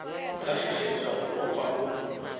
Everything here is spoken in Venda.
sa shushedzwa u ofha u